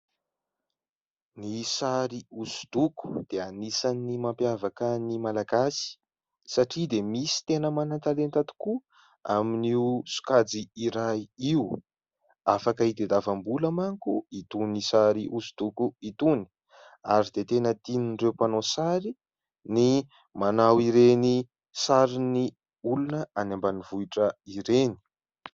Ny sary hosodoko dia anisan'ny mampiavaka ny malagasy satria misy dia tena manan-talenta tokoa amin'io sokajy iray io. Afaka itadiavam-bola manko itony sary hosodoko itony ary dia tena tian'ireo mpanao sary ny manao ireny sarin'ny olona any ambanivohitra ireny.